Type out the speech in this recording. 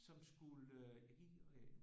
Som skulle jeg kan ikke øh